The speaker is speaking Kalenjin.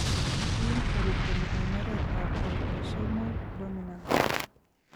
Kiinheriten en oret ab autosomal dominant